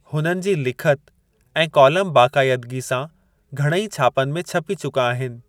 हुननि जी लिखति ऐं कॉलम बाक़ायदिगी सां घणेई छापनि में छपी चुका आहिनि।